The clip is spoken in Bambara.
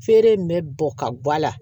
Feere in bɛ bɔ ka gu a la